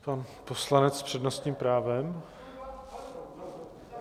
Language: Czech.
Pan poslanec s přednostním právem.